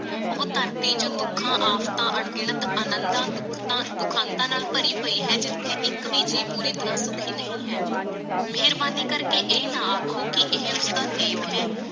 ਉਹ ਧਰਤੀ ਜੋ ਦੁਖਾਂ ਆਫ਼ਤਾਂ ਅਣਗਿਣਤ ਆਨੰਦਾਂ ਦੁਖਾਂ ਸੁਖਾਂਤਾਂ ਨਾਲ ਭਰੀ ਪਈ ਹੈ ਜਿਥੇ ਇਕ ਭੀ ਜੀ ਪੂਰੀ ਤਰਹ ਸੁਖੀ ਨਹੀਂ ਹੈ। ਮੇਹਰਬਾਨੀ ਕਰਕੇ ਇਹ ਨਾ ਆਖੋ ਕਿ ਇਹ ਉਸਦਾ ਨੇਮ ਹੈ।